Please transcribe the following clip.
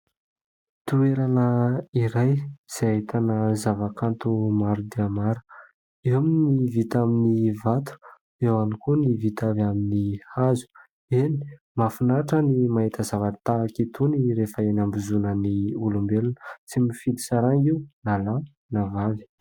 Toerana iray izay ahitana zava-kanto maro dia maro, eo ny vita amin'ny vato eo ihany koa ny vita avy amin'ny hazo, eny mahafinaritra ny mahita zavatra tahaka itony rehefa eny ambozonan'ny olombelona, tsy mifidy saranga io na lahy na vavy.